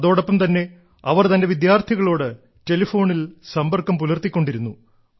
അതോടൊപ്പം തന്നെ അവർ തന്റെ വിദ്യാർത്ഥികളോട് ടെലഫോണിൽ സമ്പർക്കം പുലർത്തിക്കൊണ്ടിരുന്നു